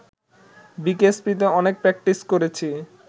বিকেএসপিতে অনেক প্র্যাকটিস করেছি